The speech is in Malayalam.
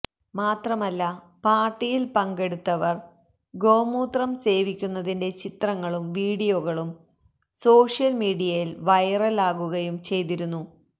മാത്രമല്ല പാര്ട്ടിയില് പങ്കെടുത്തവര് ഗോമൂത്രം സേവിക്കുന്നതിന്റെ ചിത്രങ്ങളും വീഡിയോകളും സോഷ്യല് മീഡിയയില് വൈറല് ആകുകയും ചെയ്തിരുന്നു